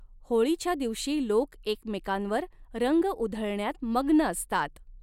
होळीच्या दिवशी लोक एकमेकांवर रंग उधळण्यात मग्न असतात.